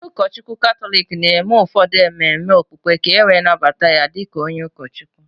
Onye ụkọchukwu Katọlik na-eme ụfọdụ ememe okpukpe ka e wee nnabata ya di ka onye ụkọchukwu.